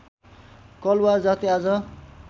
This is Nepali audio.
कलवार जाति आज